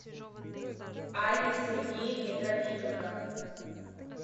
алле сергеевне трофименко